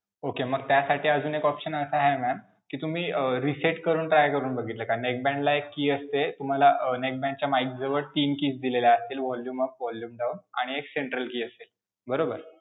Okay. मग त्यासाठी अजून एक option असा आहे ma'am कि तुम्ही अं reset करून try करून बघितला का? neckband ला एक key असते, तुम्हाला अं neckband च्या mike जवळ तीन keys दिल्या असतील, volume up, volume down आणि एक central key असते, बरोबर?